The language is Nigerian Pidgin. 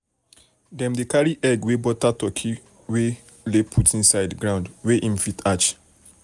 dem dey carry egg wey better turkey wey better turkey lay put inside ground where em fit hatch